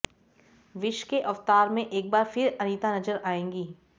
wish के अवतार में एक बार फिर अनीता नजर आएंगी